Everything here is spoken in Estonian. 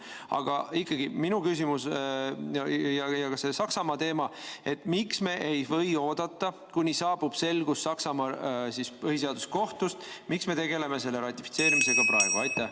Aga ikkagi, minu küsimus, mis on seotud ka selle Saksamaa teemaga: miks me ei või oodata, kuni saabub selgus Saksamaa põhiseaduskohtust, miks me tegeleme selle ratifitseerimisega praegu?